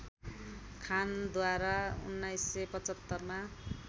खानद्वारा १९७५ मा